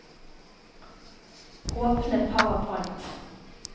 Åpne PowerPoint